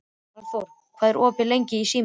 Valþór, hvað er opið lengi í Símanum?